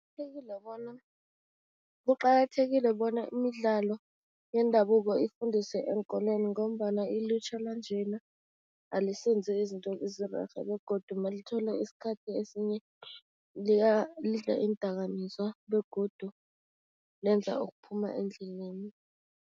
Bona, kuqakathekile bona imidlalo yendabuko ifundiswe eenkolweni ngombana ilutjha lanjena alisenzi izinto ezirerhe begodu malithola isikhathi esinye lidla iindakamizwa begodu lenza okuphuma endleleni.